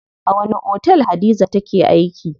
A wani otel Hadiza take aiki?